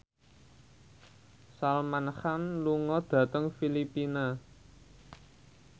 Salman Khan lunga dhateng Filipina